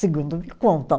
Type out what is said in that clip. Segundo me contam.